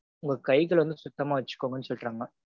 உங்க கைகள வந்து சுத்தமா வச்சுக்கோங்கனு சொல்றாங்க.